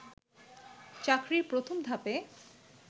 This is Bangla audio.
চাকরির প্রথম ধাপে